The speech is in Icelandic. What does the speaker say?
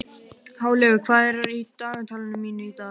Háleygur, hvað er í dagatalinu mínu í dag?